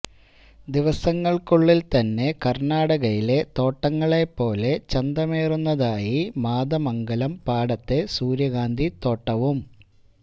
ദിവസങ്ങള്ക്കുള്ളില് തന്നെ കര്ണാടകയിലെ തോട്ടങ്ങളെ പോലെ ചന്തമേറുന്നതായി മാതമംഗലം പാടത്തെ സൂര്യകാന്തി തോട്ടവും